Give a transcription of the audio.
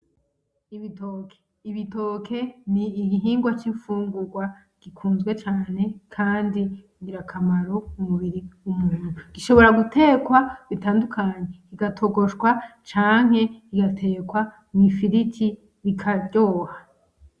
Ibitoke ni igihingwa cy'infugungwa gikunzwe cane kandi kigira akamaro mu mubiri, gishobora gutekwa bitandukanye. Kiga togoshwa canke kigatekwa mw'ifiriti bikaryoha.